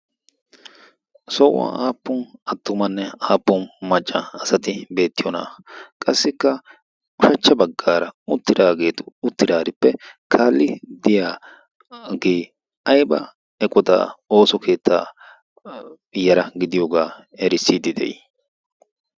sohuwan aappun attumanne aappon majca asati beettiyoonaa? qassikka ushachcha baggaara uttiraageetu uttiraarippe kaali diya gii ayba eqodaa ooso keettaa yara gidiyoogaa erissiidi de'ii?